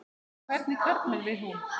En hvernig karlmann vil hún?